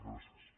gràcies